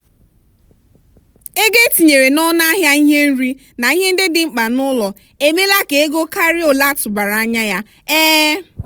ego etinyere n'ọnụ ahịa ihe nri na ihe ndị dị mkpa n'ụlọ emela ka ego karịa ole atụbara anya. um